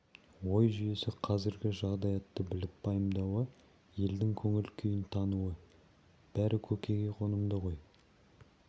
ой-жүйесі қазіргі жағдаятты біліп пайымдауы елдің көңіл күйін тануы бәрі көкейге қонымды ғой